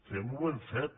fem ho ben fet